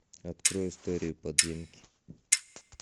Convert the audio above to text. открой истории подземки